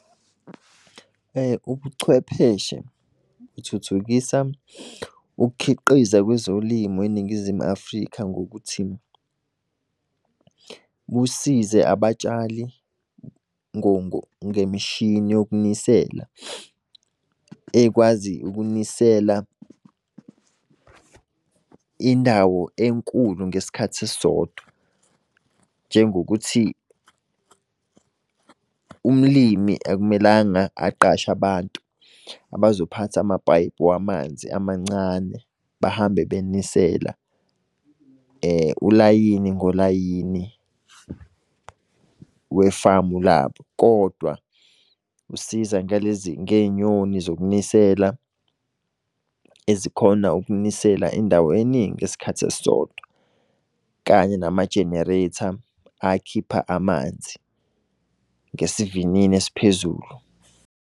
Ubuchwepheshe buthuthukisa ukukhiqiza kwezolimo eNingizimu Afrika, ngokuthi busize abatshali ngemishini yokunisela. Ekwazi ukunisela indawo enkulu ngesikhathi esisodwa. Njengokuthi, umlimi akumelanga aqashe abantu abazophatha amapayipi wamanzi amancane, bahambe benisela ulayini ngolayini we-farm labo. Kodwa usiza ngalezi ngenyoni zokunisela ezikhona ukunisela endaweni eningi ngesikhathi esisodwa kanye nama-generator akhipha amanzi ngesivinini esiphezulu.